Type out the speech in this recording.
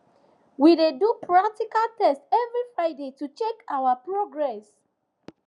we dey do practical test every friday to check our progress